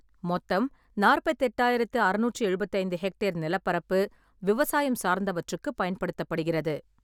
மொத்தம் நாற்பத்தி எட்டாயிரத்தி அறநூற்றி எழுபத்தைந்து ஹெக்டேர் நிலப்பரப்பு விவசாயம் சார்ந்தவற்றுக்குப் பயன்படுத்தப்படுகிறது.